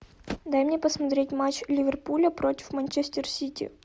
дай мне посмотреть матч ливерпуля против манчестер сити